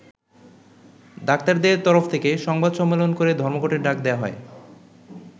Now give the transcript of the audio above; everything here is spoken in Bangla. ডাক্তারদের তরফ থেকে সংবাদ সম্মেলন করে ধর্মঘটের ডাক দেয়া হয়।